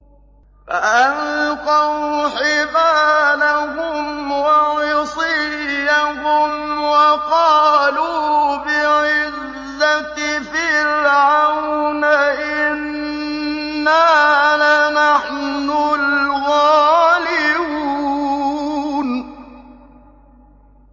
فَأَلْقَوْا حِبَالَهُمْ وَعِصِيَّهُمْ وَقَالُوا بِعِزَّةِ فِرْعَوْنَ إِنَّا لَنَحْنُ الْغَالِبُونَ